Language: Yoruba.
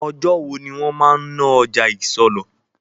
Ọjọ́ wo ni wọn máa ń ná ọjà isọlọ̀?